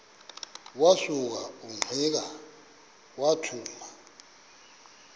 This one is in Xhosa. wasuka ungqika wathuma